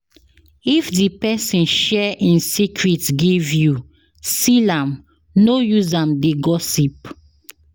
If di persin share in secret give you seal am no use am de gossip